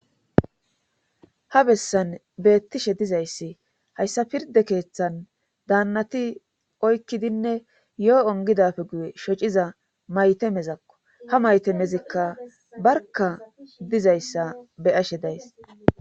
Ha bessan beettishe dizayssi hayssa pirde keeththan daannati oykkidinne yoo ongidafe guye shociza maytamezakko ha maytamezikka barka dizayssa beyashe days